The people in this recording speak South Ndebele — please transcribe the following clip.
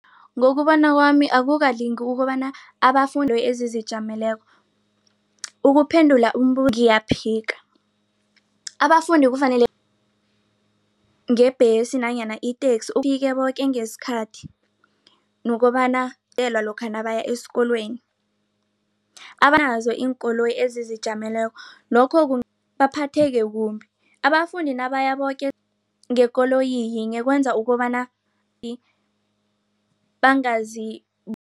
Ngokubona kwami akukalungi ukobana abafundi ezizijameleko ukuphendula ngiyaphika abafundi kufanele ngebhesi nanyana iteksi koke ngesikhathi nokobana nabaya esikolweni abanazo iinkoloyi ezizijameleko lokho baphatheke kumbi abafundi nabaya boke ngekoloyi yinye kwenza ukobana